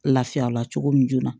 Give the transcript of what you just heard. Lafiya la cogo min joona